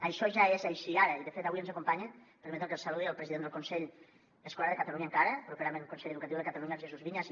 això ja és així ara i de fet avui ens acompanya permetin me que el saludi el president del consell escolar de catalunya encara properament consell educatiu de catalunya el jesús viñas